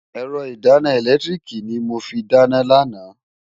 Ẹ̀rọ ìdáná ẹ̀lẹ́tíríìkì ni mo fi dáná lánàá.